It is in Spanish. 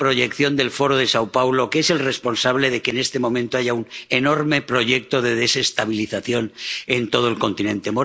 en la proyección del Foro de São Paulo, que es el responsable de que en este momento haya un enorme proyecto de desestabilización en todo el continente.